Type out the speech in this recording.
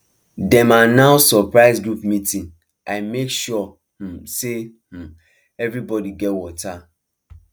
dem announce surprise group meeting i make sure um say um everybody get water